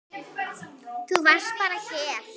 Þú varst bara hér.